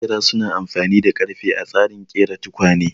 Maƙera su na amfani da ƙarfe a tsarin ƙera tukwane